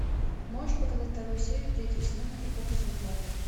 можешь показать вторую серию третьего сезона эпоха за эпохой